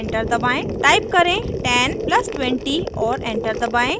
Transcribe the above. type करें 10 plus 20 और enter दबाएं